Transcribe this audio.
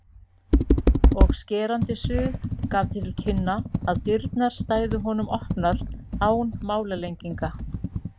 og skerandi suð gaf til kynna að dyrnar stæðu honum opnar án málalenginga.